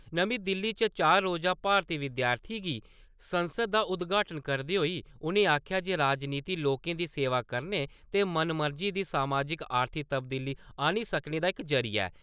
नमीं दिल्ली च चार रोज़ा भारती विद्यार्थियें गी संसद दा उदघाटन करदे होई उनें आक्खेआ जे राजनीति लोकें दी सेवा करने ते मनमर्जी दी समाजिक-आर्थिक तब्दीली आनी सकने दा इक जरिया ऐ ।